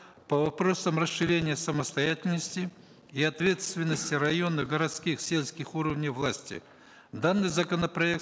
по вопросам расширения самостоятельности и ответственности районных городских сельских уровней власти данный законопроект